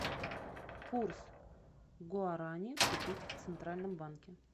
курс гуарани купить в центральном банке